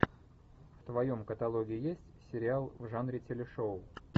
в твоем каталоге есть сериал в жанре телешоу